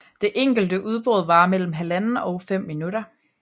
Det enkelte udbrud varer mellem 1½ og 5 minutter